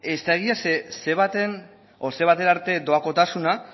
ez da egia zeren ce batera arte doakotasuna